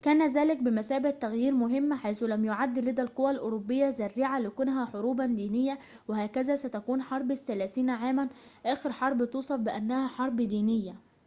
كان ذلك بمثابةِ تغييرٍ مهمٍ حيث لم يعد لدى القوى الأوروبية ذريعة لكونها حروباً دينية وهكذا ستكون حرب الثلاثين عاماً آخر حربٍ توصف بأنها حرب دينية